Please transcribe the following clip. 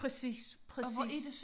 Præcis præcis